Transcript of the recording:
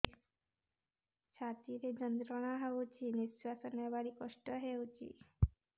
ଛାତି ରେ ଯନ୍ତ୍ରଣା ହଉଛି ନିଶ୍ୱାସ ନେବାରେ କଷ୍ଟ ହଉଛି